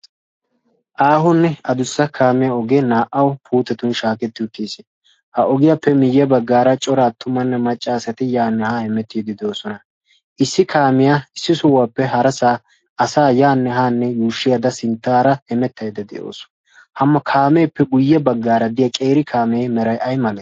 Aahonne adussa kaamiya ogee naa"awu puuttetni shaaketti uttis. Ha ogiyappe miyye baggaara cora aattumanne macca asati yaanne haa hemettiiddi doosona. Issi kaamiya issi sohuwappe harasaa asaa yaanne haanne yuushshayidda sinttaara hemettayidda de'awusu. Ha kaameeppe guyye baggaara diya qeeri kaamee meray ay malee?